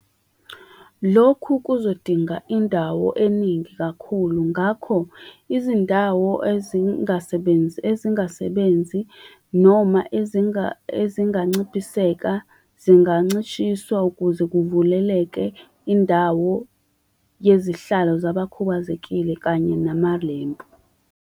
Lokhu kuzodinga indawo eningi kakhulu, ngakho, izindawo ezingasebenzi, ezingasebenzi, noma ezinganciphiseka, zingancishiswa ukuze kuvuleleke indawo yezihlalo zabakhubazekile kanye namalempu.